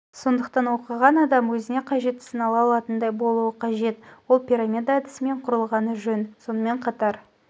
сондықтан оқыған адам өзіне қажеттісін ала алатындай болуы қажет ол пирамида әдісімен құрылғаны жөн сонымен қатар